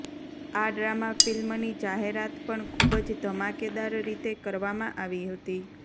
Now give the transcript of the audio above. આ ડ્રામા ફિલ્મની જાહેરાત પણ ખૂબ જ ધમાકેદાર રીતે કરવામાં આવી હતી